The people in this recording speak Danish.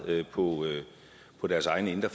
på deres egne indre